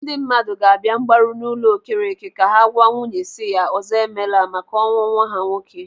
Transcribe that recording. Ndị mmadụ ga-abịa mgbaru n'ụlọ Okereke ka ha gwa nwunye si ya, ọzọemela, maka ọnwụ nwa ha nwoke.